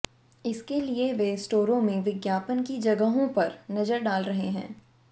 इसके लिए वे स्टोरों में विज्ञापन की जगहों पर नजर डाल रहे हैं